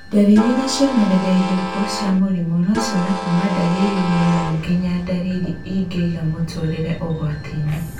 Ndariri na cionereria irĩkũ cia mũrimũ wa nociume kuma ndariri nini nginya ndariri ingĩiga mũtũrĩre ũgwati-inĩ